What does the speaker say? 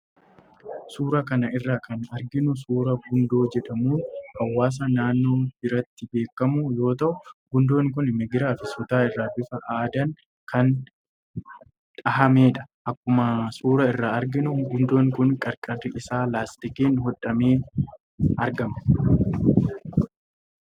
Suuraa kana irraa kan arginu suuraa gundoo jedhamuun hawaasa naannoo biratti beekamu yoo ta'u, gundoon kunis migiraa fi sutaa irraa bifa aadaan kan dhahamedha. Akkuma suuraa irraa arginu gundoon kun qarqarri isaa laastikiin hodhamee argama.